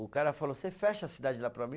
O cara falou, você fecha a cidade lá para mim?